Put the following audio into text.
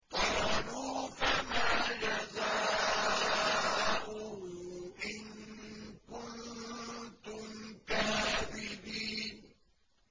قَالُوا فَمَا جَزَاؤُهُ إِن كُنتُمْ كَاذِبِينَ